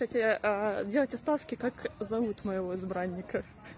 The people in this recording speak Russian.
кстати делайте ставки как зовут моего избранника